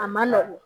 A man nɔgɔn